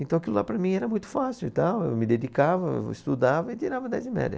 Então aquilo lá para mim era muito fácil e tal, eu me dedicava, estudava e tirava dez de média.